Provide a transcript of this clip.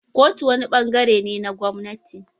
Kotu wani ɓangaren ne na gwamnati.